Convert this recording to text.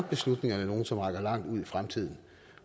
er beslutningerne nogle som rækker langt ud i fremtiden